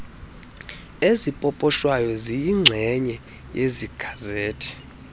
ezipoposhwayo ziyinxenye yegazethi